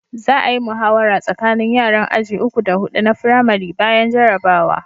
Za a'yi muhawara tsakanin yaran aji uku da Hudu na firamari bayan jarabawa.